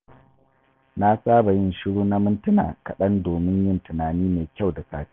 Na saba yin shiru na mintuna kaɗan domin yin tunani mai kyau da safe.